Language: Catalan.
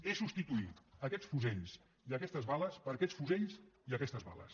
és substituir aquests fusells i aquestes bales per aquests fusells i aquestes bales